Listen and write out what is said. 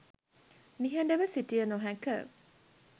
නිහඬව සිටිය නොහැක.